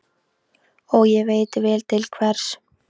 Og ég veit vel til hvers.